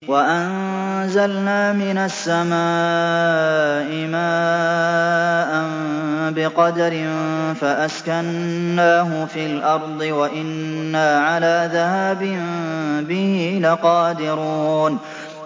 وَأَنزَلْنَا مِنَ السَّمَاءِ مَاءً بِقَدَرٍ فَأَسْكَنَّاهُ فِي الْأَرْضِ ۖ وَإِنَّا عَلَىٰ ذَهَابٍ بِهِ لَقَادِرُونَ